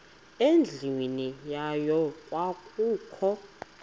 endlwini yayo kwakukho